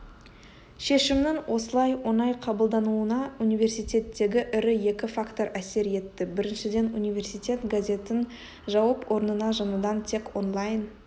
шешімнің осылай оңай қабылдануына университеттегі ірі екі фактор әсер етті біріншіден университет газетін жауып орнына жаңадан тек онлайн